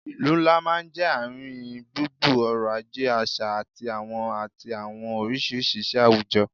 Ìlú ńlá máa ń jẹ́ ààrin gbùngbùn ọ̀rọ̀ ajé, àṣà àti àwọn àti àwọn oríṣiríṣi ìṣe àwùjọ